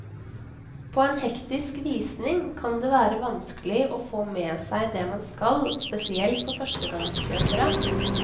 På en hektisk visning kan det være vanskelig å få med seg det man skal, spesielt for førstegangskjøpere.